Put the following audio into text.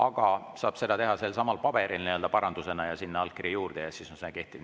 Aga seda saab teha selsamal paberil parandusena ja sinna allkirja juurde panna, siis see kehtib.